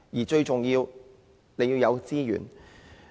最重要是要有資源。